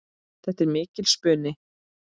Þetta er mikill spuni.